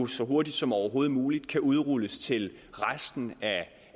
så hurtigt som overhovedet muligt kan udrulles til resten af